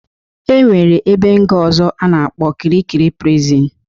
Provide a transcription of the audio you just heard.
E nwere ebe nga ọzọ a na-akpọ Kirikiri prison.